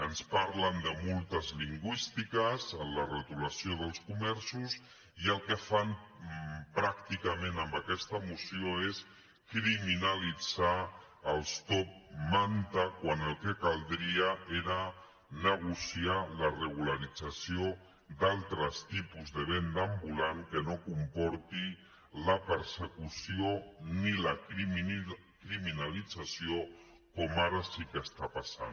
ens parlen de multes lingüístiques en la retolació dels comerços i el que fan pràcticament amb aquesta moció és criminalitzar els top manta quan el que caldria era negociar la regularització d’altres tipus de venda ambulant que no comporti la persecució ni la criminalització com ara sí que està passant